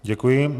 Děkuji.